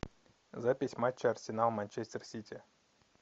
запись матча арсенал манчестер сити